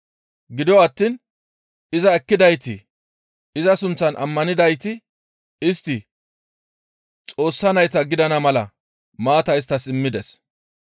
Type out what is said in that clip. Gido attiin iza ekkidayti iza sunththan ammanidayti istti Xoossa nayta gidana mala maata isttas immides.